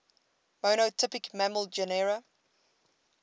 monotypic mammal genera